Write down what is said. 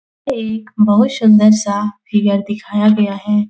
एक बहुत सुंदर सा फिगर दिखाया गया है।